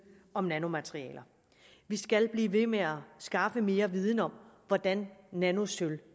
om nanomaterialer vi skal blive ved med at skaffe mere viden om hvordan nanosølv